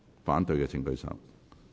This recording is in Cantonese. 反對的請舉手。